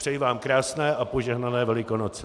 Přeji vám krásné a požehnané Velikonoce.